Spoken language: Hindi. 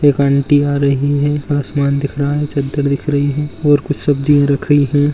एक आंटी आ रही है। आसमान दिख रहा है। चदर दिख रही है और कुछ सब्जियां रख रही है।